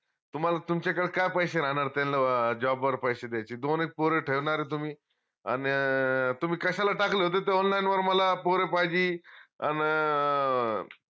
तुम्हाला तुमच्याकडं काय पैशे राहनार त्यांला job वर पैशे द्यायचे दोन, एक पोर ठेवनारे तुम्ही अन अं तुम्ही कश्याला टाकलं ते online वर मला पोर पाहजी अन अं